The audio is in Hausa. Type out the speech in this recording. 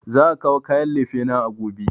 Za a kawo kayan lefena gobe